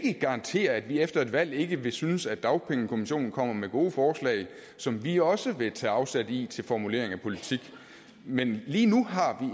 ikke garantere at vi efter et valg ikke vil synes at dagpengekommissionen kommer med gode forslag som vi også vil tage afsæt i til formulering af politik men lige nu har